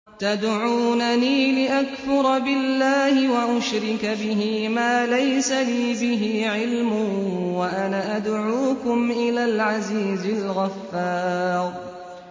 تَدْعُونَنِي لِأَكْفُرَ بِاللَّهِ وَأُشْرِكَ بِهِ مَا لَيْسَ لِي بِهِ عِلْمٌ وَأَنَا أَدْعُوكُمْ إِلَى الْعَزِيزِ الْغَفَّارِ